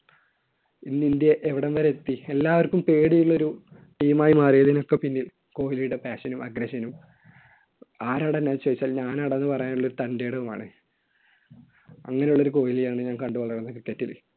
ഇന്ന് ഇന്ത്യ ഇവിടം വരെ എത്തി? എല്ലാവർക്കും പേടി ഉള്ള ഒരു team ആയി മാറിയതിനൊക്കെ പിന്നിൽ കോഹ്‌ലിയുടെ passion നും aggression നും ആരാടാ എന്ന് ചോദിച്ചാൽ ഞാനാടാ എന്ന് പറയുവാനുള്ള ഒരു തന്‍റെടവുമാണ് അങ്ങനെയുള്ള ഒരു കൊഹ്‌ലിയെ ആണ് ഞാൻ കണ്ടുവളർന്നത് cricket ൽ.